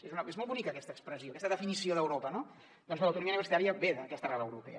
és molt bonica aquesta expressió aquesta definició d’europa no doncs bé l’autonomia universitària ve d’aquesta arrel europea